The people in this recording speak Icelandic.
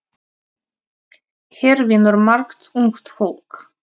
Hér vinnur margt ungt fólk.